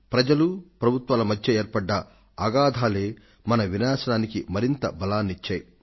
ప్రజలకు ప్రభుత్వాలకు మధ్య ఏర్పడ్డ అగాథాలే మన వినాశానికి మరింత శక్తిని ఇచ్చాయి